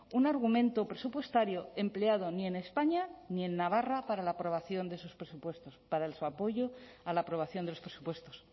un argumento presupuestario empleado ni en españa ni en navarra para la aprobación de sus presupuestos para su apoyo a la aprobación de los presupuestos